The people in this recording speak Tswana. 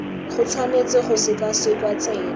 go tshwanetse ga sekwasekwa tsebe